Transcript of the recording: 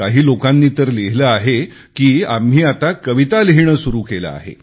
काही लोकांनी तर लिहिले आहे की आम्ही आता कविता लिहिणे सुरू केले आहे